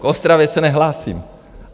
K Ostravě se nehlásím.